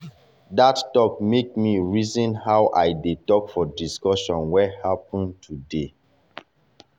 that talk make me me reason how i dey talk for discussion wey happen today.